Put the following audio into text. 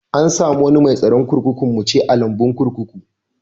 An samu wanni mai tsaron kurkuku muce a'lambun kurkukun.